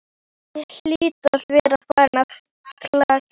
Ég hlýt að vera farin að kalka,